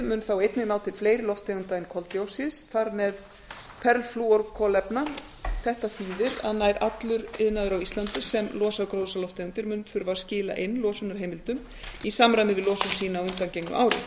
mun þá einnig ná til fleiri lofttegunda en koltvíoxíðs þar með perflúorkolefna þetta þýðir að nær allur iðnaður á íslandi sem losar gróðurhúsalofttegundir mun þurfa að skila inn losunarheimildum í samræmi við losun sína á undangengnu